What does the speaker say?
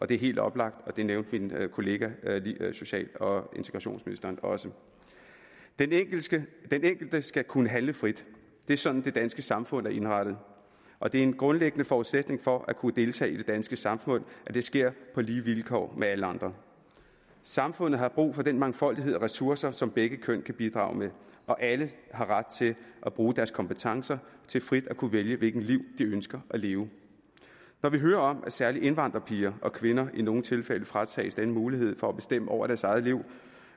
det er helt oplagt og det nævnte min kollega social og integrationsministeren også den enkelte skal enkelte skal kunne handle frit det er sådan det danske samfund er indrettet og det er en grundlæggende forudsætning for at kunne deltage i det danske samfund at det sker på lige vilkår med alle andre samfundet har brug for den mangfoldighed af ressourcer som begge køn kan bidrage med og alle har ret til at bruge deres kompetencer til frit at kunne vælge hvilket liv de ønsker at leve når vi hører om at særlig indvandrerpiger og kvinder i nogle tilfælde fratages denne mulighed for at bestemme over deres eget liv